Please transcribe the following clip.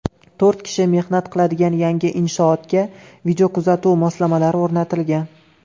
To‘rt kishi mehnat qiladigan yangi inshootga videokuzatuv moslamalari o‘rnatilgan.